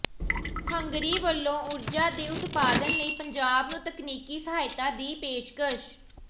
Hungary ਵਲੋਂ ਊਰਜਾ ਦੇ ਉਤਪਾਦਨ ਲਈ ਪੰਜਾਬ ਨੂੰ ਤਕਨੀਕੀ ਸਹਾਇਤਾ ਦੀ ਪੇਸ਼ਕਸ਼